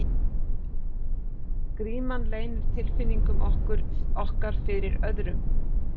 Gríman leynir tilfinningum okkar fyrir öðrum.